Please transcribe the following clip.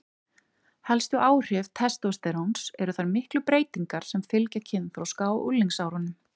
helstu áhrif testósteróns eru þær miklu breytingar sem fylgja kynþroska og unglingsárunum